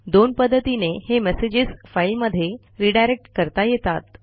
दोन पध्दतीने हे मेसेजेस फाईलमध्ये रिडायरेक्ट करता येतात